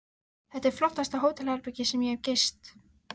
Þetta er flottasta hótelherbergi sem ég hef gist.